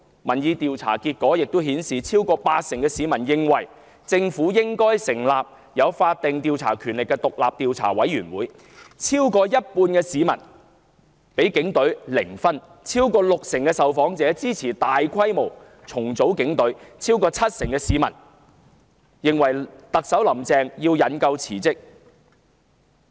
民意調查結果顯示，逾八成市民認為政府應成立有法定調查權力的獨立調查委員會；逾一半市民對警隊的信任評分為零；逾六成受訪者支持大規模重組警隊，超過七成市民認為"林鄭"特首須引咎辭職。